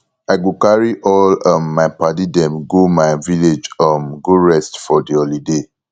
i go carry all um my paddy dem go my village um go rest for di holiday